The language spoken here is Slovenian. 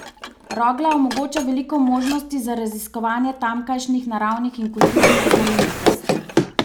Rogla omogoča veliko možnosti za raziskovanje tamkajšnjih naravnih in kulturnih znamenitosti.